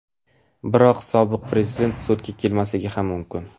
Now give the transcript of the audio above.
Biroq sobiq Prezident sudga kelmasligi ham mumkin.